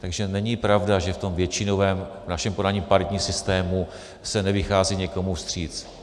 Takže není pravda, že v tom většinovém - v našem podání paritním - systému se nevychází někomu vstříc.